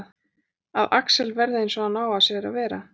Að Axel verði eins og hann á að sér að vera.